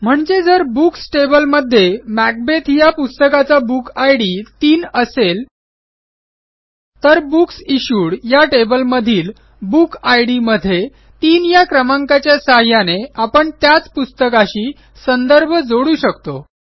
म्हणजे जर बुक्स टेबलमध्ये मॅकबेथ या पुस्तकाचा बुक इद 3 असेल तर बुक्स इश्यूड या टेबलमधील बुक इद मध्ये 3 या क्रमांकाच्या सहाय्याने आपण त्याच पुस्तकाशी संदर्भ जोडू शकतो